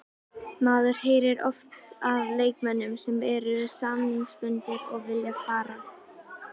Maður heyrir oft af leikmönnum sem eru samningsbundnir og vilja fara.